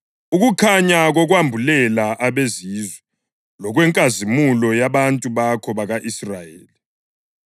ukukhanya kokwambulela abeZizwe lokwenkazimulo yabantu bakho bako-Israyeli.”